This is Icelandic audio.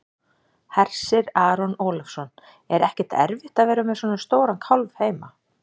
Hersir Aron Ólafsson: Er ekkert erfitt að vera með svona stóran kálf heima?